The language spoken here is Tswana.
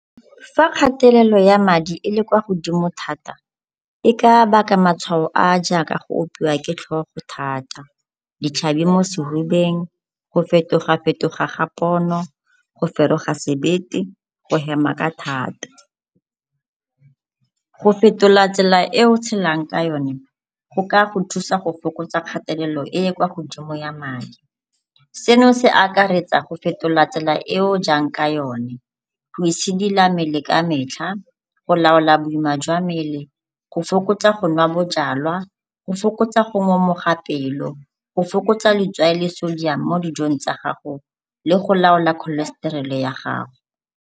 Fa kgatelelo ya madi e le kwa godimo thata e ka baka matshwao a a jaaka go opiwa ke tlhogo thata, ditlhabi mo sehubeng, go fetoga-fetoga ga pono, go feroga sebete, go hema ka thata. Go fetola tsela e o tshelang ka yone, go ka go thusa go fokotsa kgatelelo e e kwa godimo ya madi, seno se akaretsa go fetola tsela e o jang ka yone, go itshidila mmele ka metlha, go laola boima jwa mmele, go fokotsa go nwa bojalwa, go fokotsa go ngomoga pelo, go fokotsa letswai le sodium mo dijong tsa gago le go laola cholestrol-e ya gago.